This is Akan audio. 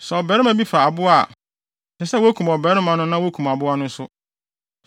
“ ‘Sɛ ɔbarima bi fa aboa a, ɛsɛ sɛ wokum ɔbarima no na wokum aboa no nso.